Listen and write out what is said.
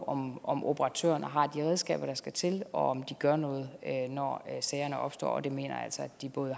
om om operatørerne har de redskaber der skal til og om de gør noget når sagerne opstår og det mener jeg altså at de både